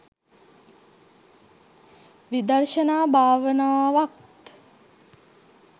විදර්ශනා භාවනාවත්